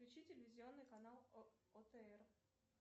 включи телевизионный канал отр